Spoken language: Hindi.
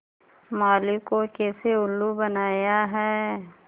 माली को कैसे उल्लू बनाया है